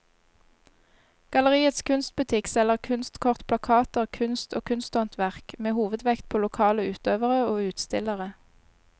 Galleriets kunstbutikk selger kunstkort, plakater, kunst og kunsthåndverk med hovedvekt på lokale utøvere og utstillere.